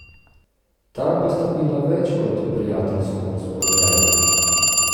Tam pa sta bila več kot prijateljsko razpoložena.